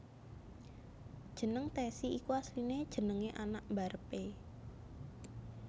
Jeneng Tessy iku asline jenenge anak mbarep e